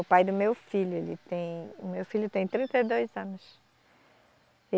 O pai do meu filho, ele tem, o meu filho tem trinta e dois anos.